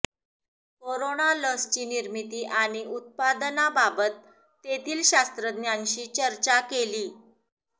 corona लसची निर्मिती आणि उत्पादनाबाबत तेथील शास्त्रज्ञांशी चर्चा केली